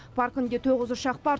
паркінде тоғыз ұшақ бар